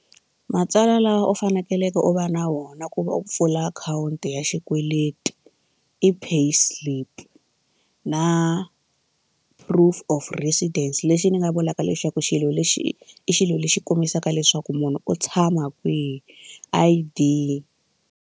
Matsalwa lawa u fanekeleke u va na wona ku va u pfula akhawunti ya xikweleti i pay slip na proof of residence lexi ni nga vulaka lexaku xilo lexi i xilo lexi kombisaka leswaku munhu u tshama kwihi I_D.